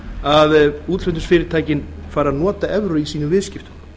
að útflutningsfyrirtækin fari að nota evrur í sínum viðskiptum